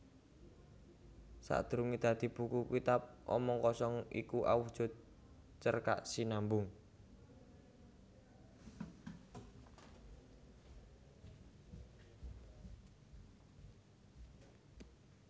Sadurungé dadi buku Kitab Omong Kosong iku awujud cerkak sinambung